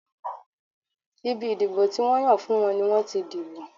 Ibi ìdìbò tí wọ́n yàn fún wọn ni wọ́n ti dìbò.